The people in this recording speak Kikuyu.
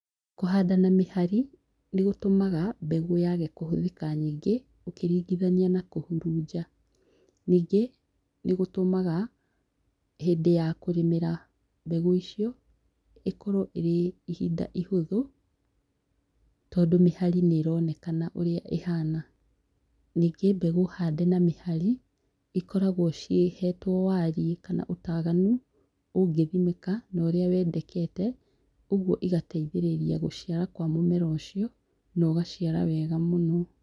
Kũhanda na mĩhari, nĩ gũtũmaga mbegũ yaage kũhũthĩka nyingĩ, ũkiringithania na kũhurunja. Ningĩ, nĩ gũtũmaga hĩndĩ ya kũrĩmĩra mbegũ icio, ĩkorwa ĩrĩ ihinda ihũthũ, tondũ mĩhari nĩ ĩroneka ũrĩa ĩhana. Ningĩ, mbegũ hande na mĩhari ĩkoragwo ciĩhetwo waariĩ, kana ũtaaganu, ũngĩthimĩka na ũrĩa wendekete, ũguo igateithĩrĩria gũciara kwa mũmera ũcio, na ũgaciara wega mũno.